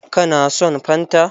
Ka na son fanta?